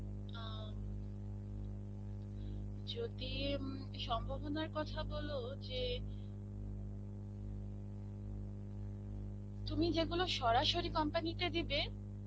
অ্যাঁ যদি ইম সম্ভাবনার কথা বলো যে তুমি যেগুলো সরাসরি company তে দিবে,